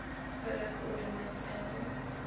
polar coordinate angle